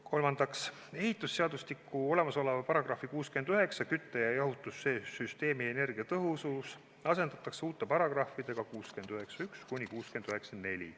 Kolmandaks, ehitusseadustiku § 69 "Kütte- ja jahutussüsteemi energiatõhusus" asendatakse uute paragrahvidega 691–694.